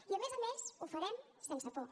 i a més a més ho farem sense por